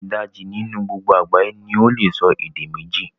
Idaji ninu gbogbo agbaye ni ole so ede meji